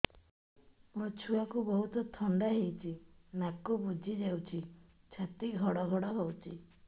ମୋ ଛୁଆକୁ ବହୁତ ଥଣ୍ଡା ହେଇଚି ନାକ ବୁଜି ଯାଉଛି ଛାତି ଘଡ ଘଡ ହଉଚି